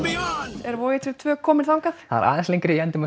er tvö kominn þangað það er aðeins lengra í endimörk